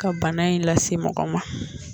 ka bana in lase mɔgɔ ma